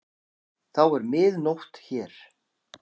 Þá er mið nótt hér.